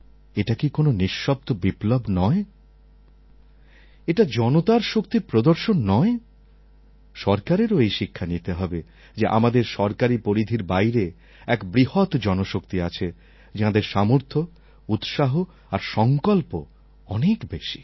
এটা কি কোনও নিঃশব্দ বিপ্লব নয় এটা জনতার শক্তির প্রদর্শন নয় সরকারেরও এই শিক্ষা নিতে হবে যে আমাদের সরকারি পরিধির বাইরে এক বৃহৎ জনশক্তি আছে যাঁদের সামর্থ্য উৎসাহ আর সংকল্প অনেক বেশি